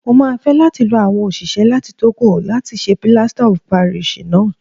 Mo máa fẹ́ láti lo àwọn òṣìṣẹ́ láti Tógò láti ṣe Plaster of Paris náà. S